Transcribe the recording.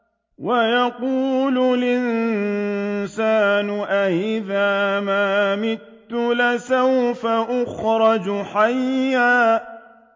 وَيَقُولُ الْإِنسَانُ أَإِذَا مَا مِتُّ لَسَوْفَ أُخْرَجُ حَيًّا